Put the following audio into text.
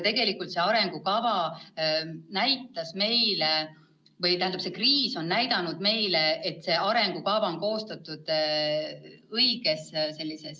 Tegelikult on see kriis meile näidanud, et see arengukava on koostatud õiges tonaalsuses.